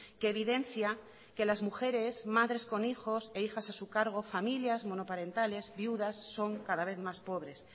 que evidencia que las mujeres madres con hijos e hijas a su cargo familias monoparentales viudas son cada vez más pobres